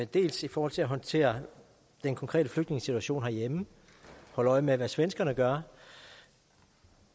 dels i forhold til at håndtere den konkrete flygtningesituation herhjemme og holde øje med hvad svenskerne gør